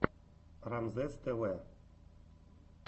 рамзесств